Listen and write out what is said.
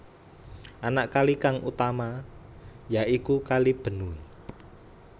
Anak kali kang utama ya iku Kali Benue